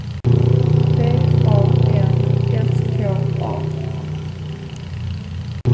D A N S K A